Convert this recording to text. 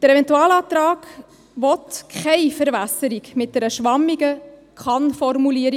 Der Eventualantrag will keine Verwässerung mit einer schwammigen KannFormulierung.